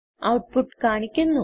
output കാണിക്കുന്നു